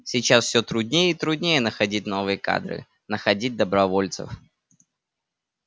сейчас все труднее и труднее находить новые кадры находить добровольцев